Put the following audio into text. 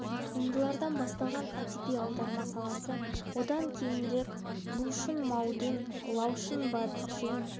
туындылардан басталған әдеби аударма саласы одан кейінірек лу шұн мау дұн лау шы ба жин